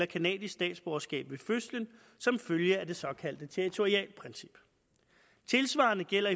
canadisk statsborgerskab ved fødslen som følge af det såkaldte territorialprincip tilsvarende gælder